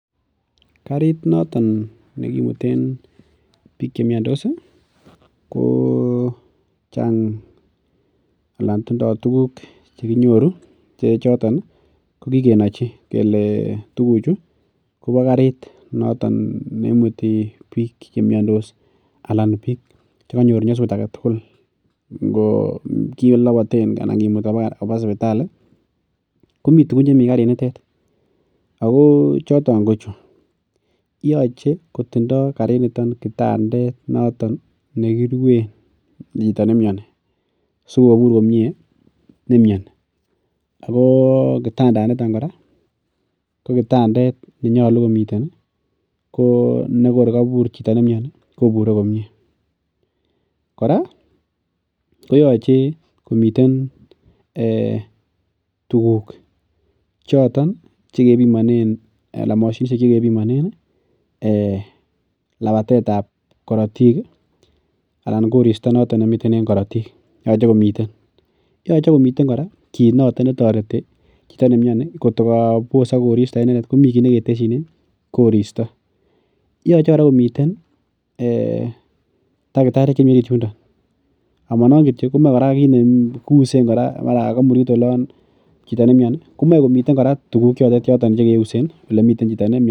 Karit noton nekimutunen bik chemiando ko karit nekikenachi kele tuguchute koba karit noton neimute bik chemiantos anan neimuti bik chakonyor nyasut agetugul. Ngo kilobaten anan kimuti koba sipitali ih komi tugun chemi karit nitet ako choton ko chu. Yoche kotinye karit niton kitandet nekiruen chito nemiani sikobur komie chito nemiani. Ako kitandanito ko kitandet nemie, yekor kabur chito nemiani kobure komie. Koyache komiten tuguk choton ih chekebiman labatetabkaratik ih anan koristo noton nemi en karatiik. Cheti nemiani kobosat korista en karatiik komi kit neketesinen korista. Yache kotabatso takitariek chemi orit yundon. Komae komiten tuguk chekeusen olemiten chito nemiani.